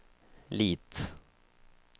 Lit